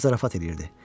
O zarafat eləyirdi.